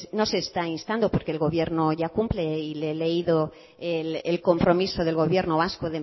no se está instando porque el gobierno ya cumple y le he leído el compromiso del gobierno vasco